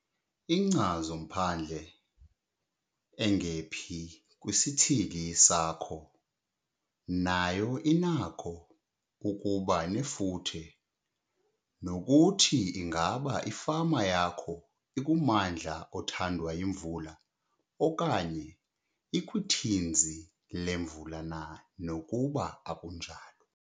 Inkcazo-mphandle engephi kwisithili sakho nayo inakho ukuba nefuthe nokuthi ingaba ifama yakho ikummandla othandwa yimvula okanye ikwithinzi lemvula na nokuba akunjalo.